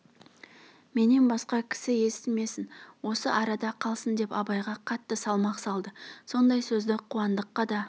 менен басқа кісі естімесін осы арада қалсын деп абайға қатты салмақ салды сондай сөзді қуандыққа да